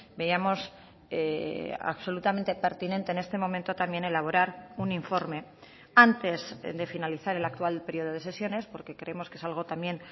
veíamos absolutamente pertinente en este momento también elaborar un informe antes de finalizar el actual periodo de sesiones porque creemos que es algo también